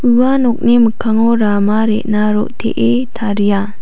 ua nokni mikkango rama re·na ro·tee taria.